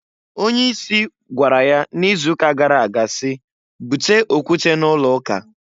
Onye isi gwara ya n'izuuka gara aga si, "Bute okwute n'ụlọụka!"